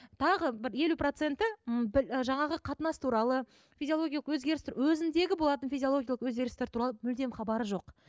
тағы бір елу проценті м жаңағы қатынас туралы физилогиялық өзгеріс өзіндегі болатын физиологиялық өзгерістер туралы мүлдем хабары жоқ